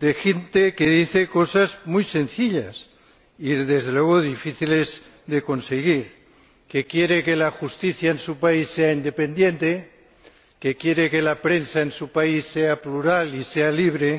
de gente que dice cosas muy sencillas y, desde luego, difíciles de conseguir que quiere que la justicia en su país sea independiente, que quiere que la prensa en su país sea plural y sea libre,